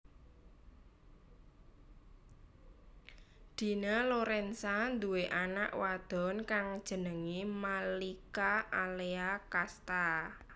Dina Lorenza nduwé anak wadon kang jenengé Malika Alea Casta